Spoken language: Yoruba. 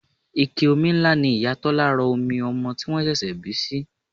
Ike omi ńlá ni Ìyá Tọ́lá rọ omi ọmọ tí wọ́n ṣẹ̀ṣẹ̀ bí sí.